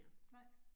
Nej